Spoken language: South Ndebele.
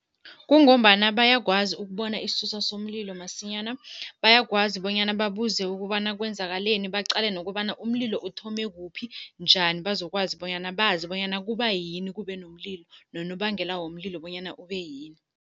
Kungombana bayakwazi ukubona isisusa somlilo masinyana. Bayakwazi bonyana babuze ukobana kwenzakaleni, baqale nokobana umlilo uthome kuphi, njani. Bazokwazi bonyana bazi bonyana kubayini kube nomlilo nonobangela womlilo bonyana ube yini.